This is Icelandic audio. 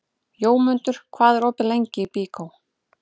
Jómundur, hvað er opið lengi í Byko?